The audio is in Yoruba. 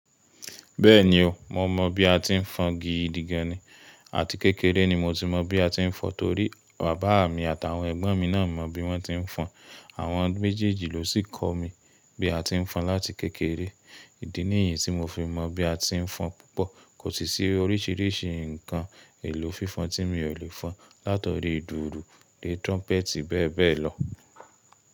Bẹ́ẹ̀ni o, mo mọ bí a ti ń fọn gi di gan ni, àti kékeré ni mo ti mọ bí a ti ń fọn torí bàbá mi àtàwọn ẹ̀gbọ́n mi náà mọ bí wọ́n ti ń fọn. Àwọn méjèèjì ló sì kọ́ mi bí a ti ń fọn láti kékeré. Ìdí nìyí tí mo fi mọ̀ bí a ti ń fọn púpọ̀. Kò sì sí oríṣiríṣi ǹkan èlò fífan tí mi ò lè fọn látori ìdùrù, de trumpet bẹ́ẹ̀bẹ́ẹ̀ lọ.